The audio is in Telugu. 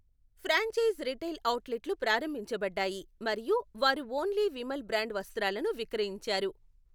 ఫ్రాంఛైజ్ రిటైల్ అవుట్లెట్లు ప్రారంభించబడ్డాయి మరియు వారు ఓన్లీ విమల్ బ్రాండ్ వస్త్రాలను విక్రయించారు.